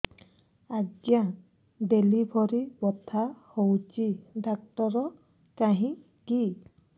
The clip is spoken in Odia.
ଆଜ୍ଞା ଡେଲିଭରି ବଥା ହଉଚି ଡାକ୍ତର କାହିଁ କି